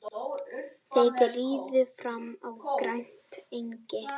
Þeir riðu fram á grænt engi.